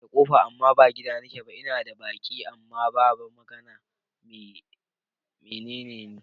Ina da ƙofa amma ba gida nake ba, ina da baki amma ba ba magana, me neme ni?